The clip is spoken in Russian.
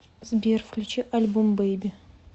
сбер включи альбом бэйби